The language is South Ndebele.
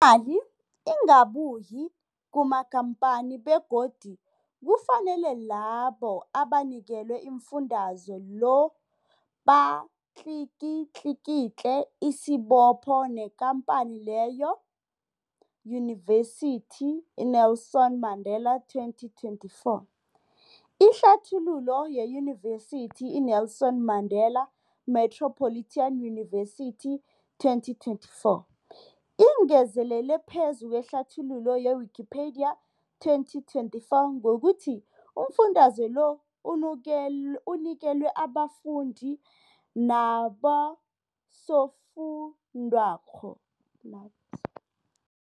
Imali ingabuyi kumakhamphani begodu kufanele labo abanikelwa umfundaze lo batlikitliki isibopho neenkhamphani leyo, Yunivesity i-Nelson Mandela 2024. Ihlathululo yeYunivesithi i-Nelson Mandela Metropolitan University, 2024, ingezelele phezu kwehlathululo ye-Wikipedia, 2024, ngokuthi umfundaze lo unikel unikelwa abafundi nabosofundwakgho.